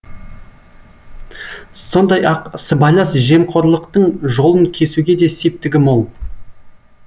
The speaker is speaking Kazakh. сондай ақ сыбайлас жемқорлықтың жолын кесуге де септігі мол